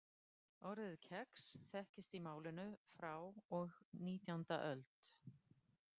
Orðið kex þekkist í málinu frá og nítjánda öld.